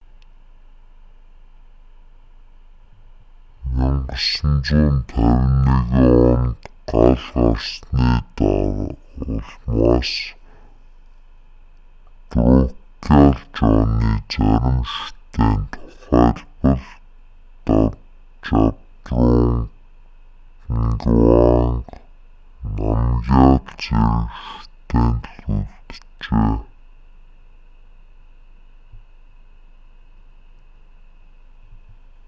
1951 онд гал гарсны улмаас друкгял жоны зарим шүтээн тухайлбал жабдрунг нгаванг намгяал зэрэг шүтээн л үлджээ